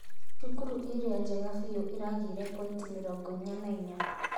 Cukuru ĩrĩa njega biũ ĩragĩire pointi mĩrongo inya na inya